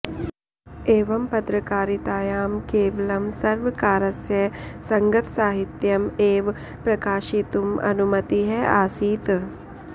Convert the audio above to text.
एवं पत्रकारितायां केवलं सर्वकारस्य सङ्गतसाहित्यम् एव प्रकाशितुम् अनुमतिः आसीत्